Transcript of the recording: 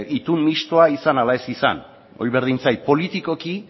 itun mistoa izan ala ez izan hori berdin zait politikoki